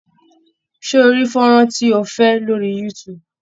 Ṣé ó rí fónrán tí ó fẹ́ lórí youtube?